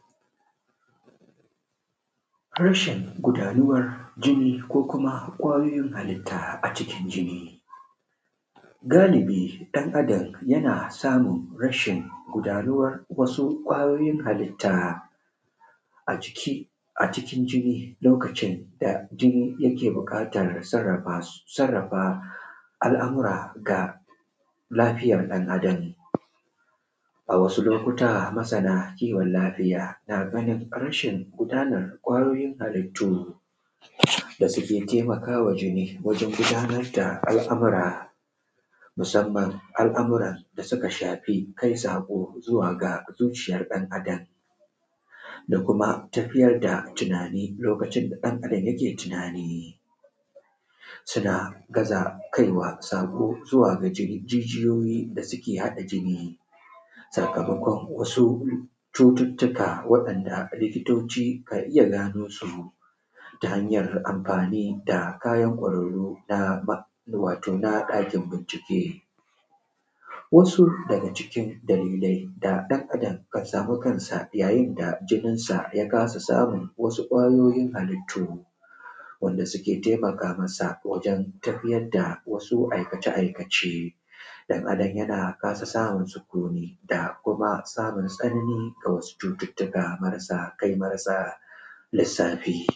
Harshen gudanuwar jini, ko kuma kwayoyin halitta a cikin jini. Galibi ɗan adam yana samun rashin gudanuwar wasu kwayoyin halitta. aciki acikin jini lokacin, da jini yake buƙata ya sarrafa su. sarrafa alamura ga lafiyar dan adam. A wasu lokuta masana kiwon lafiya naganin amshin gudanar kwayoyin halittu Da suke taimakawa jini wajen gudanar da al’amura. Musamman al’amuran da suka shafi, kai saƙo zuwa ga zuciyar dan adam. Da kuma tafiyar da tunani, lokacin da ɗan adam jake tunani. Suna gaza kaiwa saƙo zuwa ga jir jijiyoyin da suke haɗa jini. Sakamakon wasu cuttuttuka, waɗanda likitoci kan iya ganosu, ta hanjar amfani da kayan kwararru. Na ma wato na ɗakin bincike. wasu daga cikin dalilai da ɗan adam kan sami kansa yayinda jininsa yakasa samu wasu kwayoyin halittu. Wanda suke taimakamasa, wajen tafiyar da wasu aikace: aikace. Ɗan adam yana kasa samun sukuni, da kuma samun tsananin ga wasu cututtuka. Marasa kai marasa lissafi.